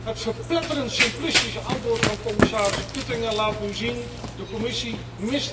Het verpletterend simplistische antwoord van commissaris Oettinger laat nu zien dat de Commissie